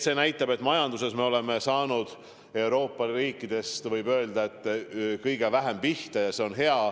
See näitab, et majanduses me oleme saanud Euroopa riikidest, võib öelda, kõige vähem pihta ja see on hea.